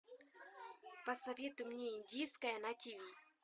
посоветуй мне индийское на тиви